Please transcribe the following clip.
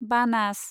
बानास